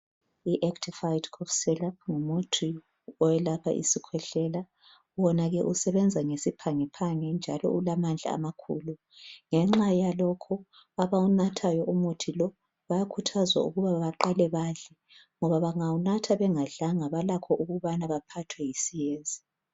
IActifed cough syrup ngumuthi owelapha isikhwehlela. Wona ke usebenza ngesiphangiphangi, njalo ulamandla amakhulu. Ngenxa yalokho abawunathayo umuthi lo, bakhuthazwa ukuthi baqale badle, ngoba bangawunatha gengadlanga. Balakho ukuthi baphathwe yisiyezi.